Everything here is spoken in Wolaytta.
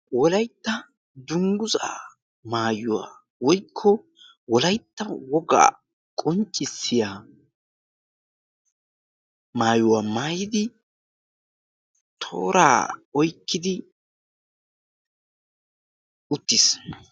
wolaytta dungguzaa maayuwaa woykko wolaytta wogaa qonccissiya maayuwaa maayidi tooraa oykkidi uttis.